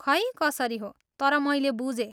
खै कसरी हो, तर मैले बुझेँ।